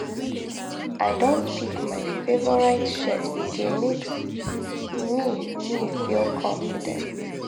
i don pick my favorite shirt e dey make me me feel confident.